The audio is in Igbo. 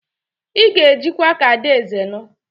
Ị ga-ejikwa ka adaeze nụ!